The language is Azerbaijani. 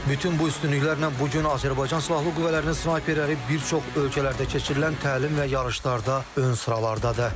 Bütün bu üstünlüklərlə bu gün Azərbaycan Silahlı Qüvvələrinin snayperləri bir çox ölkələrdə keçirilən təlim və yarışlarda ön sıralardadır.